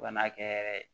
Fo ka n'a kɛ yɛrɛ